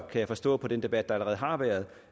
jeg forstå på den debat der allerede har været